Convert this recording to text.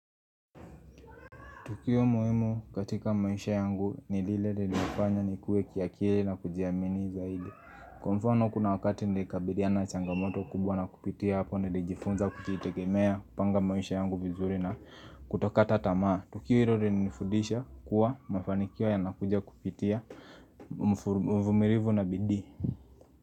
Tukio muhimu katika maisha yangu ni lile lilinifanya nikuwe kiakili na kujiamini zaidi. Kwa mfano kuna wakati nilikabiliana na changamoto kubwa na kupitia hapa nilijifunza kujitegemea, kupanga maisha yangu vizuri na kutokata tamaa. Tukio hilo lilinifundisha kuwa mafanikio yanakuja kupitia, mvumilivu na bidii.